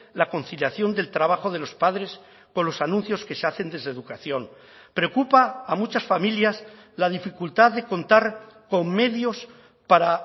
la conciliación del trabajo de los padres con los anuncios que se hacen desde educación preocupa a muchas familias la dificultad de contar con medios para